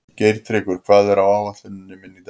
Geirtryggur, hvað er á áætluninni minni í dag?